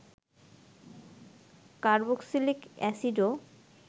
carboxylic অ্যাসিডও